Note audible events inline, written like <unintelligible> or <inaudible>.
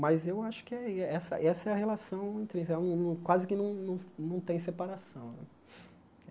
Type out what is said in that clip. Mas eu acho que é i essa essa é a relação, <unintelligible> quase que não não não tem separação né.